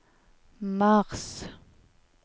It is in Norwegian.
mars